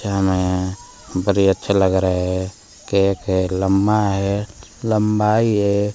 बरे अच्छे लग रहे हैं केक है लम्बा है लम्बाई है।